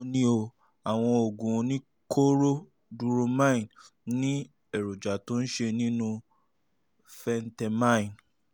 báwo ni o? àwọn oògùn oníkóró duromine ní èròjà tó ń ṣiṣẹ́ nínú phentermine